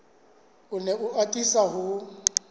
o ne a atisa ho